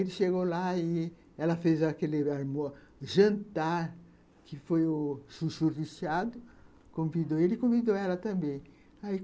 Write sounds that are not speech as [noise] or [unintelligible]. Ele chegou lá e ela fez aquele [unintelligible] jantar, que foi o chuchu recheado, convidou ele e convidou ela também.